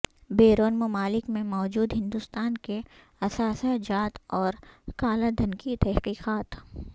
بیرون ممالک میں موجود ہندوستان کے اثاثہ جات اور کالا دھن کی تحقیقات